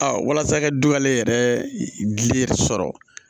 walasa i ka du ale yɛrɛ gili sɔrɔ